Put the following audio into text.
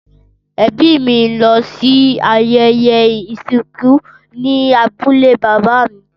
Ẹbí mí ń lọ sí ibi ayẹyẹ ìsìnkú ní abúlé bàbá mi.